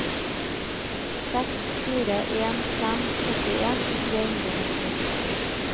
seks fire en fem førtien tre hundre og nitti